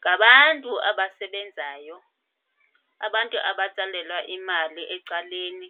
Ngabantu abasebenzayo, abantu abatsalelwa imali ecaleni